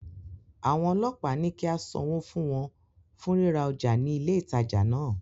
Àwọn ọlọ́pàá ní kí á sanwó fún wọn fún ríra ọjà ní ilé ìtajà náà.